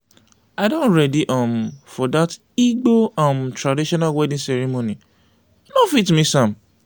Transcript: i don ready um for dat igbo um traditional wedding ceremony i no fit miss am.